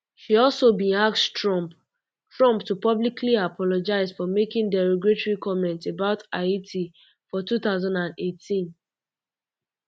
um she also bin ask trump trump to publicly apologise um for making derogatory comments about haiti fortwo thousand and eighteen